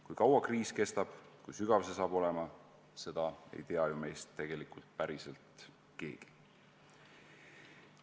Kui kaua kriis kestab ja kui sügav see saab olema, seda ei tea meist tegelikult ju keegi.